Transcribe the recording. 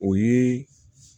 O ye